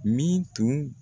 Min tun